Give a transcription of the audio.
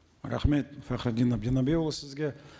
рахмет фахриддин әбдінәбиұлы сізге